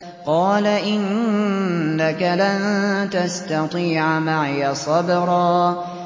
قَالَ إِنَّكَ لَن تَسْتَطِيعَ مَعِيَ صَبْرًا